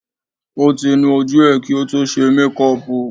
Ó ti nu ojú ẹ̀ kí o tó ṣe mékọpù